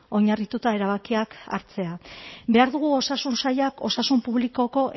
oinarrituta erabakiak hartzea behar dugu osasun sailak osasun publikoko